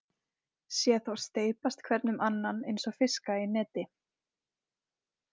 Sé þá steypast hvern um annan einsog fiska í neti.